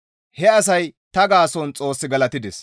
He asay ta gaason Xoos galatides.